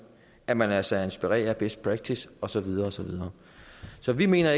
at man lader sig inspirere af best practice og så videre og så videre så vi mener